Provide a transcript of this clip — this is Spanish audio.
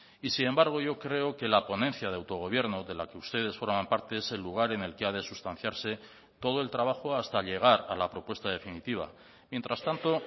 y sin embargo yo creo que la ponencia de autogobierno de la que ustedes forman parte es el lugar en el que ha de sustanciarse todo el trabajo hasta llegar a la propuesta definitiva mientras tanto